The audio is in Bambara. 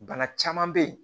Bana caman bɛ yen